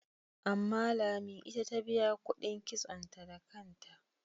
Amma Lami ita ta biya kuɗin kitsonta da kanta.